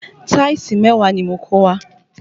Táìsì mẹ́wàá ni mo kó wá